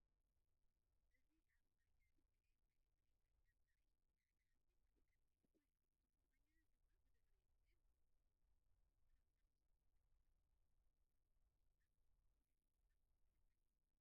እዚ ኣብ ጽርግያ ዝካየድ ናይ እግሪ ውድድር ዘርኢ እዩ። ሓደ ኣትሌት ኣብ ቅድሚት ኮይኑ፡ ስፖርተኛታት ድማ ብድሕሪኡ ይጎዩ ኣለዉ። ከምዞም ስፖርተኛታት ክትጎዪ ትደሊ ዲኻ? ንምንታይ?